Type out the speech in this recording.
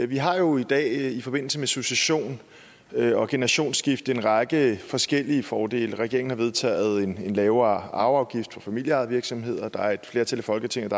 vi har jo i dag i forbindelse med succession og generationsskifte en række forskellige fordele regeringen har vedtaget en lavere arveafgift for familieejede virksomheder og der er et flertal i folketinget